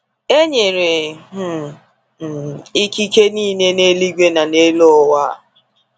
E nyere um m ikike niile n’eluigwe na n’elu ụwa.